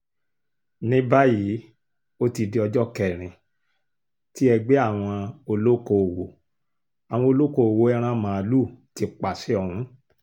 ní báyìí ó ti di ọjọ́ kẹrin tí ẹgbẹ́ àwọn olókoòwò àwọn olókoòwò ẹran màálùú ti pàṣẹ ọ̀hún